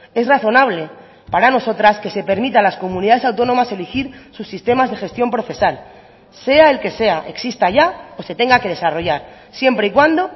es razonable para nosotras que se permita a las comunidades autónomas elegir sus sistemas de gestión procesal sea el que sea exista ya o se tenga que desarrollar siempre y cuando